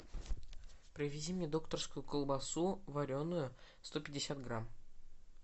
привези мне докторскую колбасу вареную сто пятьдесят грамм